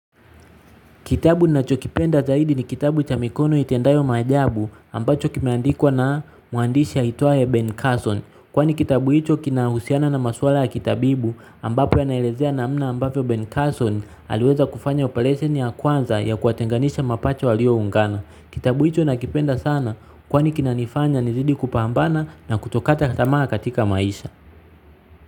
Kitabu nachokipenda zaidi ni kitabu cha mikono itendayo maajabu ambacho kimeandikwa na muandishi aitwaye Ben Carson. Kwani kitabu hicho kinahusiana na maswala ya kitabibu ambapo inaelezea namna ambavyo Ben Carson aliweza kufanya operation ya kwanza ya kuwatenganisha mapacha walioungana. Kitabu hicho nakipenda sana kwani kinanifanya nizidi kupambana na kutokata tamaa katika maisha.